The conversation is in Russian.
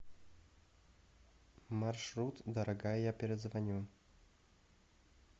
маршрут дорогая я перезвоню